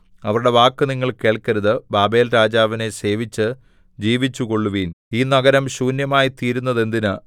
അവരുടെ വാക്ക് നിങ്ങൾ കേൾക്കരുത് ബാബേൽരാജാവിനെ സേവിച്ചു ജീവിച്ചുകൊള്ളുവിൻ ഈ നഗരം ശൂന്യമായിത്തീരുന്നതെന്തിന്